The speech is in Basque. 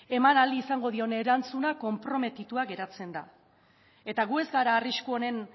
eman ahal izango dion erantzuna konprometitua geratzen da eta gu ez gara arrisku honen